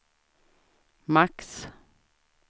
max